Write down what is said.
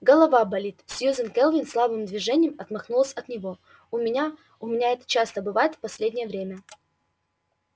голова болит сьюзен кэлвин слабым движением отмахнулась от него у меня у меня это часто бывает в последнее время